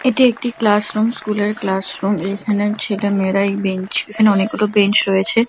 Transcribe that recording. এটি একটি classroom school - এর ক্লাসরুম এইখানে ছেলেমেয়েরা এই বেঞ্চ এখানে অনেকগুলো বেঞ্চ রয়েছে ।